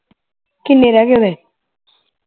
ਕਿੰਨੇ ਰਹਿ ਗਏ ਓਹਦੇ